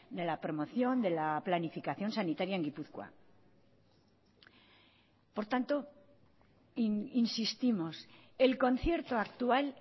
de la promoción de la planificación sanitaria en gipuzkoa por tanto insistimos el concierto actual